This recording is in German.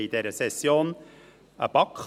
Nicht abschreiben der Motion 188-2017.